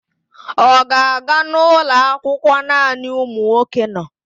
Ọ ga-aga n'ụlọakwụkwọ naanị ụmụnwoke nọ?